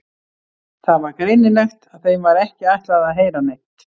Það var greinilegt að þeim var ekki ætlað að heyra neitt.